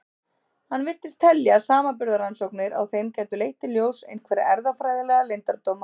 Hann virtist telja að samanburðarrannsóknir á þeim gætu leitt í ljós einhverja erfðafræðilega leyndardóma.